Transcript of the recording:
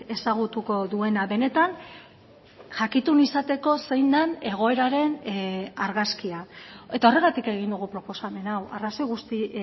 ezagutuko duena benetan jakitun izateko zein den egoeraren argazkia eta horregatik egin dugu proposamen hau arrazoi guzti